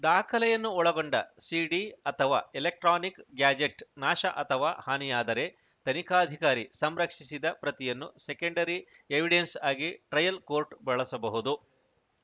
ದಾಖಲೆಯನ್ನು ಒಳಗೊಂಡ ಸಿಡಿ ಅಥವಾ ಎಲೆಕ್ಟ್ರಾನಿಕ್‌ ಗ್ಯಾಜೆಟ್‌ ನಾಶ ಅಥವಾ ಹಾನಿಯಾದರೆ ತನಿಖಾಧಿಕಾರಿ ಸಂರಕ್ಷಿಸಿದ ಪ್ರತಿಯನ್ನು ಸೆಕೆಂಡರಿ ಎವಿಡೆನ್ಸ್‌ ಆಗಿ ಟ್ರಯಲ್‌ ಕೋರ್ಟ್‌ ಬಳಸಬಹುದು